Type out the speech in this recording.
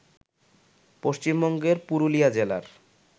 পশ্চিমবঙ্গের পুরুলিয়া জেলার